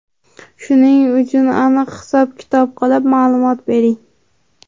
Shuning uchun aniq-hisob kitob qilib, ma’lumot bering.